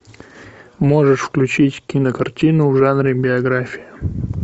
можешь включить кинокартину в жанре биография